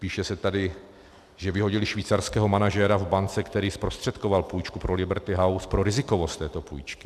Píše se tady, že vyhodili švýcarského manažera v bance, který zprostředkoval půjčku pro Liberty House, pro rizikovost této půjčky.